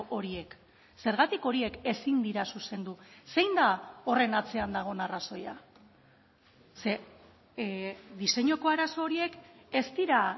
horiek zergatik horiek ezin dira zuzendu zein da horren atzean dagoen arrazoia ze diseinuko arazo horiek ez dira